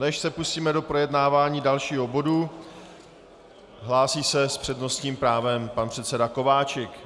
Než se pustíme do projednávání dalšího bodu, hlásí se s přednostním právem pan předseda Kováčik.